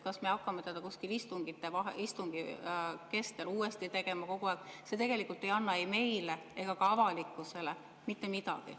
Kas me hakkame seda istungi keskel kogu aeg uuesti tegema, see tegelikult ei anna ei meile ega ka avalikkusele mitte midagi.